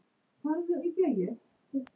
Aldrei dauf stund með ömmu.